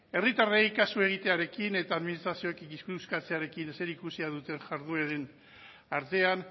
herritarrei kasu egitearekin eta administrazioak ikuskatzearekin zerikusia duen jardueren artean